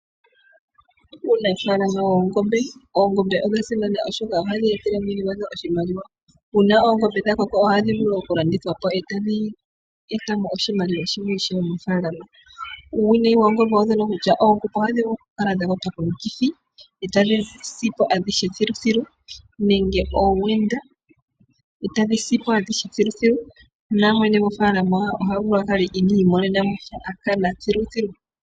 Uunafaalama woongombe, oongombe odha simana oshoka ohadhi etele mwene gwadho oshimaliwa uuna oongombe dhakoko ohadhi vulu woo okulandithwa po etadhi etamo oshimaliwa ishewe mofaalama. Uuwinayi woongombe owo mbono okutya oongombe ohadhi vulu kukala dhakwatwa komukithi etadhi sipo adhihe thiluthilu nenge owenda etadhi sipo adhihe thiluthilu, namwene gofaalama ohavulu akale iniimonena mosha akana thiluthilu.